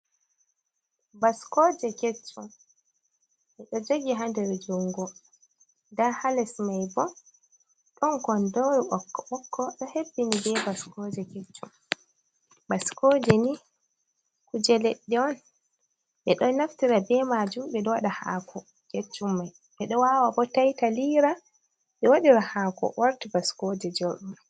Baskoje keccum ɓe ɗo jogi ha nder jungo nda ha les mai bo ɗon kondoru ɓokko ɓokko ɗo hebbini be baskoje keccum, baskoje ni kuje leɗɗe on ɓe ɗo naftira be majum ɓe ɗo waɗa haako keccum mai, ɓe ɗo wawa bo taita lira ɓe wadira haako warta baskoje jorɗum